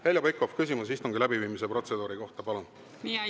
Heljo Pikhof, küsimus istungi läbiviimise protseduuri kohta, palun!